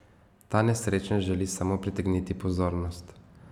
Ta nesrečnež želi samo pritegniti pozornost.